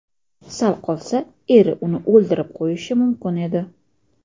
Sal qolsa eri uni o‘ldirib qo‘yishi mumkin edi.